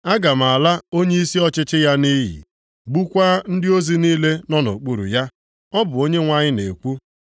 Aga m ala onyeisi ọchịchị ya nʼiyi, gbukwaa ndị ozi niile nọ nʼokpuru ya.” Ọ bụ Onyenwe anyị na-ekwu.